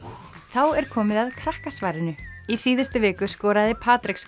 þá er komið að Krakkasvarinu í síðustu viku skoraði